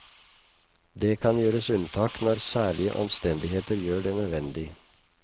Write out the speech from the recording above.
Det kan gjøres unntak når særlige omstendigheter gjør det nødvendig.